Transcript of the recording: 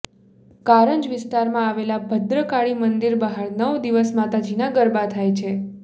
કારંજ વિસ્તારમાં આવેલા ભદ્રકાળી મંદિર બહાર નવ દિવસ માતાજીના ગરબા થાય છે